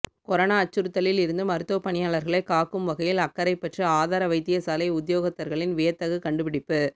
corona அச்சுறுத்தலில் இருந்து மருத்துவப் பணியாளர்களைக் காக்கும் வகையில் அக்கரைப்பற்று ஆதார வைத்தியசாலை உத்தியோகத்தர்களின் வியத்தகு கண்டுபிடிப்பு